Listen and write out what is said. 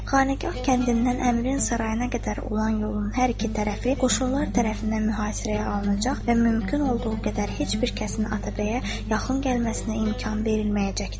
Xanaqah kəndindən Əmirin sarayına qədər olan yolun hər iki tərəfi qoşunlar tərəfindən mühasirəyə alınacaq və mümkün olduğu qədər heç bir kəsin Atabəyə yaxın gəlməsinə imkan verilməyəcəkdir.